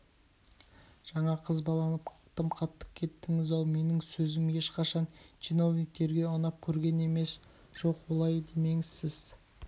жаңа қызбаланып тым қатты кеттіңіз-ау менің сөзім ешқашан чиновниктерге ұнап көрген емес жоқ олай демеңіз сіз